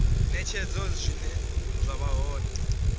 netshedzo zwine zwa vha hone